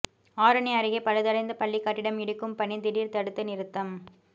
ஆரணி அருகே பழுதடைந்த பள்ளி கட்டிடம் இடிக்கும் பணி திடீர் தடுத்து நிறுத்தம்